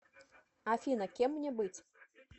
афина кем мне быть